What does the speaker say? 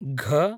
घ